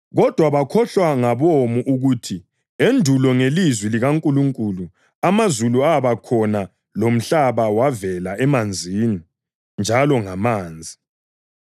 Kodwa bakhohlwa ngabomo ukuthi endulo ngelizwi likaNkulunkulu amazulu abakhona lomhlaba wavela emanzini njalo ngamanzi.